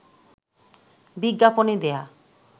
বিজ্ঞাপনে দেয়া